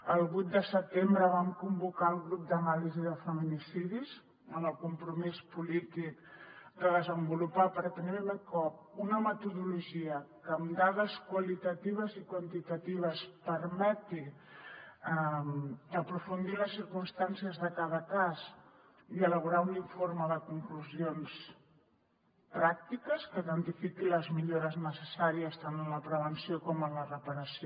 el vuit de setembre vam convocar el grup d’anàlisi de feminicidis amb el compromís polític de desenvolupar per primer cop una metodologia que amb dades qualitatives i quantitatives permeti aprofundir en les circumstàncies de cada cas i elaborar un informe de conclusions pràctiques que identifiqui les millores necessàries tant en la prevenció com en la reparació